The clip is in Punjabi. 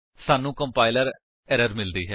ਸਾਨੂੰ ਕੰਪਾਇਲਰ ਐਰਰ ਮਿਲਦੀ ਹੈ